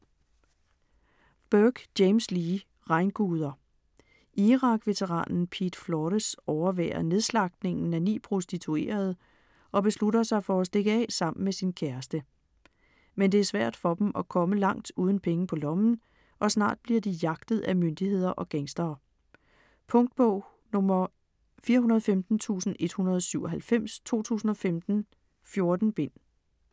Burke, James Lee: Regnguder Irak-veteranen Pete Flores overværer nedslagtningen af ni prostituerede og beslutter sig for at stikke af sammen med sin kæreste. Men det er svært for dem at komme langt uden penge på lommen og snart bliver de jagtet af myndigheder og gangstere. Punktbog 415197 2015. 14 bind.